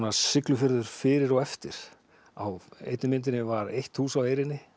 Siglufjörður fyrir og eftir á einni myndinni var eitt hús á eyrinni